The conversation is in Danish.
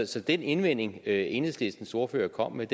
så den indvending enhedslistens ordfører kommer med